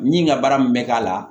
Min ka baara min bɛ k'a la